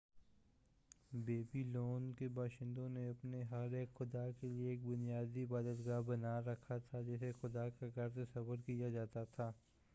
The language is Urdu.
بیبی لون کے باشندوں نے اپنے ہر ایک خدا کیلئے ایک بنیادی عبادت گاہ بنا رکھا تھا جسے خدا کا گھر تصور کیا جاتا تھا